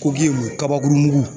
K'o ki kun kabakurun mugu